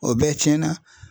O bɛɛ tiɲɛna